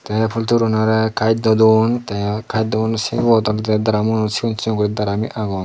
te ey poltry huro unore kayjdo duon te kayjdo uno sibot oley daramuot cigon cigon guri agon.